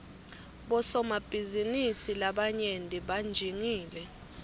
bosomabhizinisi labayenti banjingile